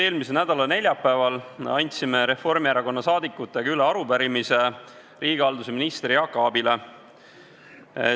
Eelmise nädala neljapäeval andsime Reformierakonna saadikutega üle arupärimise riigihalduse ministrile Jaak Aabile.